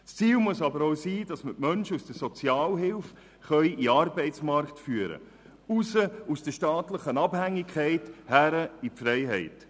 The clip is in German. Das Ziel muss aber auch sein, dass wir die Menschen aus der Sozialhilfe in den Arbeitsmarkt führen können, aus der staatlichen Abhängigkeit heraus und in die Freiheit.